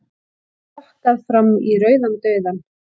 Rokkað fram í rauðan dauðann